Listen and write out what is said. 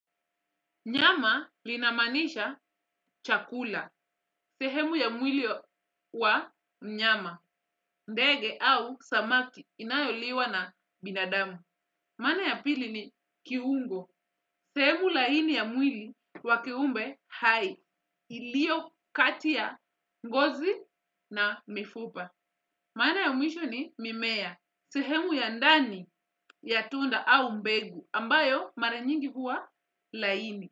Nyama linamaanisha chakula, sehemu ya mwili wa mnyama, ndege au samaki inayoliwa na binadamu. Maana ya pili ni kiungo, sehemu laini ya mwili wa kiumbe hai, iliyo kati ya ngozi na mifupa. Maana ya mwisho ni mimea, sehemu ya ndani ya tunda au mbegu, ambayo mara nyingi huwa laini.